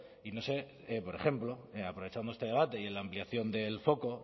y no sé por ejemplo aprovechando este debate y en la ampliación del foco